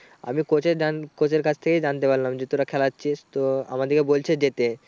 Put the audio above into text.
আমি coach এর দান coach এর কাছ থেকেই জানতে পারলাম যে তোরা খেলাচ্ছিস। তো আমাদেরকে বলছে যেতে।